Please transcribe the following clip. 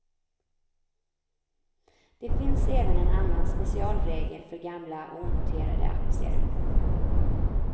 Det finns även en annan specialregel för gamla onoterade aktier.